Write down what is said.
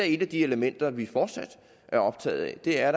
et af de elementer vi fortsat er optaget af vi er